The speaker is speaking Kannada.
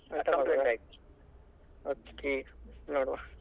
Okay ನೋಡುವ.